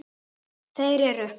Þeir eru